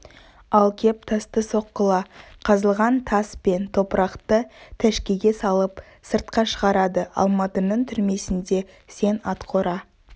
ал кеп тасты соққыла қазылған тас пен топырақты тәшкеге салып сыртқа шығарады алматының түрмесінде сен атқора